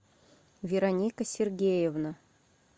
вероника сергеевна